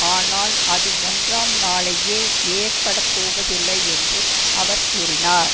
ஆனால் அது ஒன்றாம் நாளையே ஏற்படப் போவதில்லை என்று அவர் கூறினார்